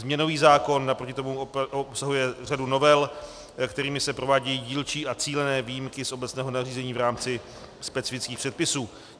Změnový zákon naproti tomu obsahuje řadu novel, kterými se provádějí dílčí a cílené výjimky z obecného nařízení v rámci specifických předpisů.